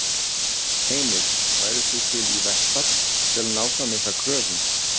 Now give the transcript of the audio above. Heimir: Værir þú til í verkfall til að ná fram ykkar kröfum?